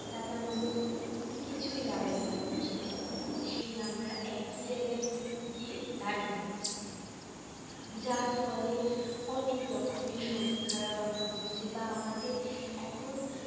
তাতে আমাদের কিছুই লাভর লাভ হচ্ছে না সেই আমরা একই জায়গায় গিয়ে দাঁড়িয়ে আছি যার ফলে অনেক রকমের শরীর খারাপ হচ্ছে বা আমাদের এখন